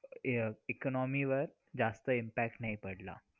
अह economy वर जास्त impact नाही पडला.